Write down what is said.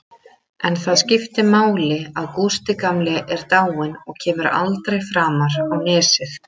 En það skiptir máli að Gústi gamli er dáinn og kemur aldrei framar á Nesið.